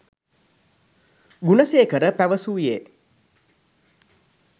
Gunasekara පැවසූයේ